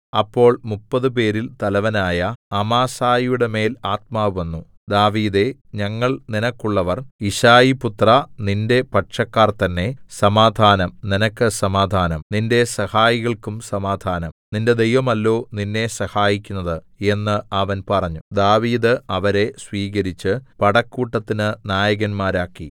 അപ്പോൾ മുപ്പതുപേരിൽ തലവനായ അമാസായിയുടെമേൽ ആത്മാവ് വന്നു ദാവീദേ ഞങ്ങൾ നിനക്കുള്ളവർ യിശ്ശായിപുത്രാ നിന്റെ പക്ഷക്കാർ തന്നേ സമാധാനം നിനക്ക് സമാധാനം നിന്റെ സഹായികൾക്കും സമാധാനം നിന്റെ ദൈവമല്ലോ നിന്നെ സഹായിക്കുന്നത് എന്ന് അവൻ പറഞ്ഞു ദാവീദ് അവരെ സ്വീകരിച്ച് പടക്കൂട്ടത്തിന് നായകന്മാരാക്കി